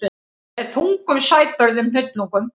Með þungum sæbörðum hnullungum.